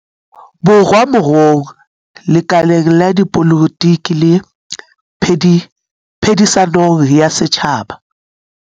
Borwa moruong, lekaleng la dipolotiki le phedi-sanong ya setjhaba.